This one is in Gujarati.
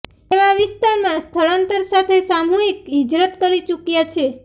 એવા વિસ્તારમાં સ્ળાંતર સાથે સામુહિક હિજરત કરી ચુક્યા છે